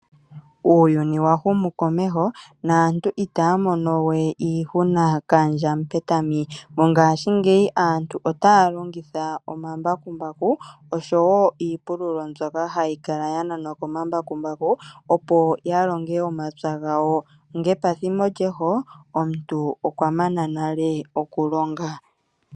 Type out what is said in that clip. Uuyuni wa humu komeho naantu itaya mono we iihuna kandja Mupetami. Mongaashingeyi aantu otaya longitha omambakumbaku osho wo iipululo mbyoka hayi kala ya nanwa komambakumbaku opo ya longe omapya gawo, ngepathimbo lyeho omuntu okwa mana nale okulonga.